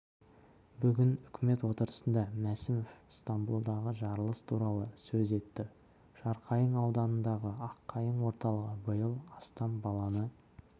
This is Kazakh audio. бүгін үкімет отырысында мәсімов стамбулдағы жарылыс туралы сөз етті жарқайың ауданындағы аққайың орталығы биыл астам баланы